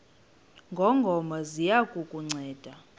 ngongoma ziya kukunceda